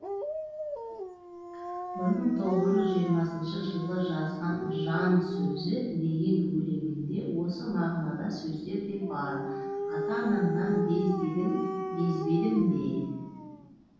бір мың тоғыз жүз жиырмасыншы жылы жазған жан сөзі деген өлеңінде осы мағынадағы сөздер де бар ата анаңнан без дедің безбедім бе